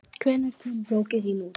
Hvenær kemur bókin þín út?